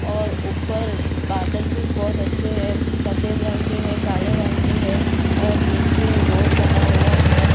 और ऊपर बादल भी बहुत अच्छे है सफ़ेद रंग के है काले रंग के है और नीचे रोड बना हुआ है ।